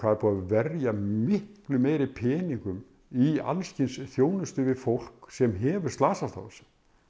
er búið að verja miklu meiri peningum í alls kyns þjónustu við fólk sem hefur slasast á þessu